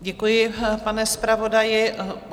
Děkuji, pane zpravodaji.